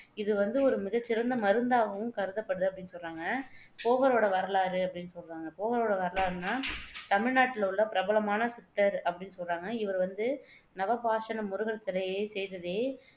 இது வந்து ஒரு மிகச்சிறந்த மருந்தாகவும் கருதப்படுது அப்படின்னு சொல்றாங்க போகரோட வரலாறு அப்படின்னு சொல்றாங்க போகரோட வரலாறுன்னா நாட்டிலுள்ள பிரபலமான சித்தர் அப்படின்னு சொல்றாங்க இவர் வந்து நவபாஷாண முருகன் சிலையைச் செய்ததே.